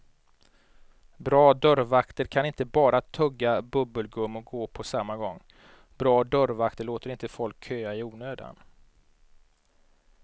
Bra dörrvakter kan inte bara tugga bubbelgum och gå på samma gång, bra dörrvakter låter inte folk köa i onödan.